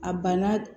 A banna